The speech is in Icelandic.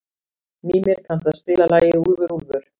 Mímir, kanntu að spila lagið „Úlfur úlfur“?